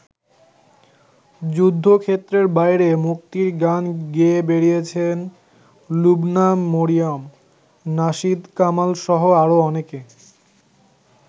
যুদ্ধক্ষেত্রের বাইরে মুক্তির গান গেয়ে বেরিয়েছেন লুবনা মরিয়ম, নাশিদ কামালসহ আরও অনেকে।